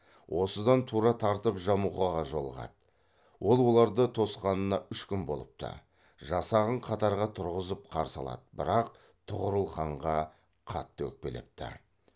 осыдан тура тартып жамұқаға жолығады ол оларды тосқанына үш күн болыпты жасағын қатарға тұрғызып қарсы алады бірақ тұғырыл ханға қатты өкпелепті